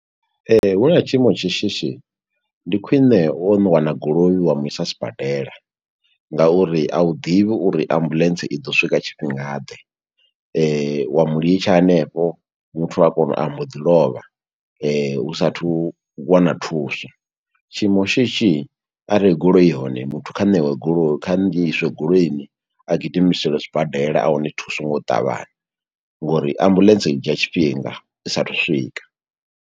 Huna tshiimo tsha shishi, ndi khwiṋe wo no wana goloi wa mu isa sibadela, nga uri a u ḓivhi uri ambuḽentse i ḓo swika tshifhinga ḓe. Wa mu litsha hanefho muthu a kone, u ambo ḓi lovha hu sathu wana thuso. Tshiimo shishi, arali goloi i hone muthu kha ṋewe goloi, kha ngiiswe goloini, a gidimiselwe zwibadela a wane thuso ngo u ṱavhanya, ngo uri ambuḽentse i dzhia tshifhinga, i sa a thu u swika.